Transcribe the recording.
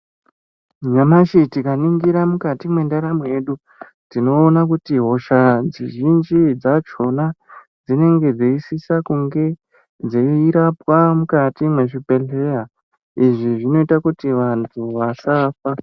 Nyamashi tika ningira mukati me ndaramo yedu tino ona kuti hosha dzi zhinji dzachona dzinenge dzei sisa kunge dzei rapwa mukati mwe zvibhedhleya izvi zvinoita kuti vantu vasafa.